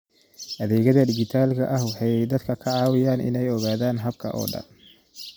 Adeegyada dijitaalka ah waxay dadka ka caawiyaan inay ogaadaan habka oo dhan.